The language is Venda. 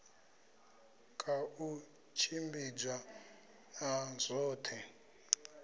ka u tshimbidzwa ha zwoṱhe